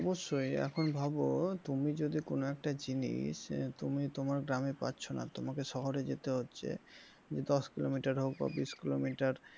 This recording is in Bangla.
অবশ্য এখন ভাবো তুমি যদি কোনো একটা জিনিস তুমি তোমার গ্রামে যাচ্ছ না তোমাকে শহরে যেতে হচ্ছে দশ কিলোমিটার হোক বা বিষ কিলোমিটার,